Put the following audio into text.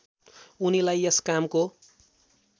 उनीलाई यस कामको